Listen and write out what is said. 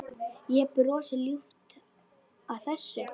Ég brosi ljúft að þessu.